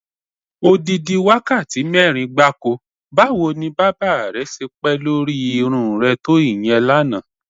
Odidi wákàtí mé̩rin gbáko! Báwo ni bábà re̩ s̩e pé̩ lórí irún re̩ to ìye̩n lánàá?